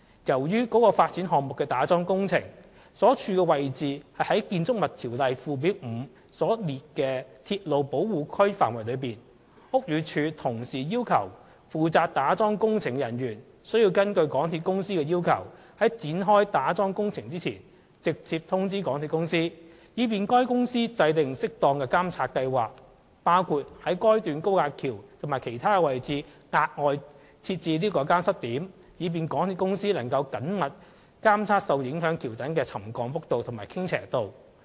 由於該發展項目的打樁工程位處《建築物條例》附表5所列的鐵路保護區範圍內，故此，屋宇署同時要求負責打樁工程的人員須根據港鐵公司的要求，在展開打樁工程前，直接通知港鐵公司，以便該公司制訂適當的監察計劃，包括於該段高架橋及其他位置額外設置監測點，以便港鐵公司能緊密監測受影響橋躉的沉降幅度和傾斜度。